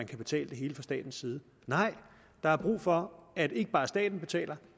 kan betales fra statens side nej der er brug for at ikke bare staten betaler